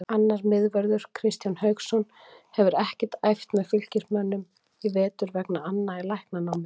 Annar miðvörður, Kristján Hauksson, hefur ekkert æft með Fylkismönnum í vetur vegna anna í læknanámi.